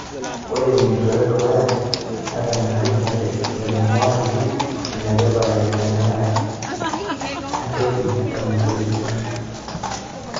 Ore tenjurore edukuya, netonyorakinote ilairemok ajo enetipat enkiteng'enare entoki eton etu item.